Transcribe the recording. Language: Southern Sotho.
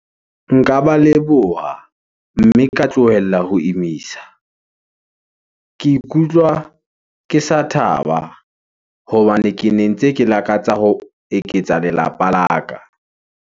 Nka ba leboha, mme ka tlohella ho imisa . Ke ikutlwa ke sa thaba, hobane ke ne ntse ke lakatsa ho eketsa lelapa la ka.